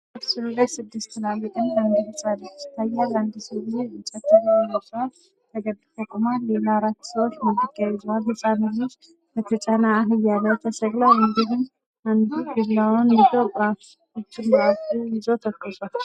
ምስሉ ላይ ስድስት ትላልቅና አንድ ህፃን ልጅ ይታያል አንድ ሰውዬ እንጨት ይዞ ይታያል ተገድፎ ቁሟል። ሌላ አራት ሰዎች ማድጋ ይዘዋል። ህፃኑ ልጅ ከተጫነ አህያ ተሰቅሏል እንዲሁም አንዱ ዱላ ይዞ ጉጩን በአፉይዞ ትክዝ ብሏል።